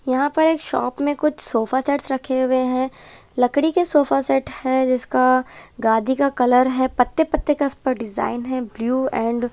यहां पर एक शॉप में कुछ सोफा सेट रखे हुए हैं लकड़ी के सोफा सेट है जिसका गाधि का कलर है पत्ते पत्ते का इस पर डिजाइन है ब्लू एंड --